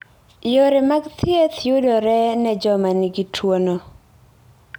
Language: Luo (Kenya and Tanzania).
Yore mag thieth yudore ne joma nigi tuwono.